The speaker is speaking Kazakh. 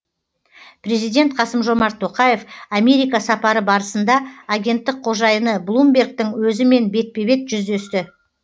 президент қасым жомарт тоқаев америка сапары барысында агенттік қожайыны блумбергтің өзімен бетпе бет жүздесті